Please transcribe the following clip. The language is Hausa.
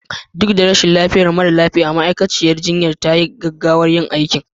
Duk da rashin lafiyar mara lafiya, ma'aikaciyar jinya ta yi gaggawar yin aikin